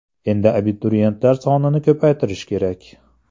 Endi abituriyentlar sonini ko‘paytirish kerak.